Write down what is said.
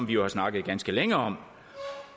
vi jo har snakket ganske længe om